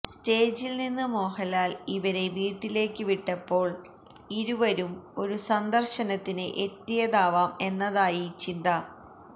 സ്റ്റേജില് നിന്ന് മോഹന്ലാല് ഇവരെ വീട്ടിലേക്ക് വിട്ടപ്പോള് ഇരുവരും ഒരു സന്ദര്ശനത്തിന് എത്തിയതാവാം എന്നതായി ചിന്ത